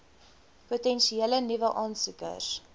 potensiële nuwe aansoekers